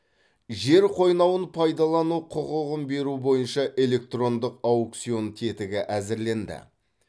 жер қойнауын пайдалану құқығын беру бойынша электрондық аукцион тетігі әзірленді